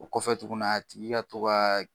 O kɔfɛ tuguni a tigi ka to ka